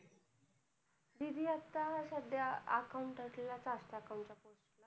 दीदी आता सध्या accountant ला chartered accountant दीदी आता सध्या accountant ला chartered acountant